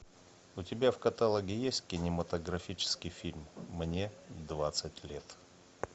у тебя в каталоге есть кинематографический фильм мне двадцать лет